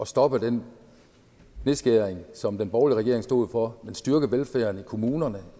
stoppe den nedskæring som den borgerlige regering stod for og styrke velfærden i kommunerne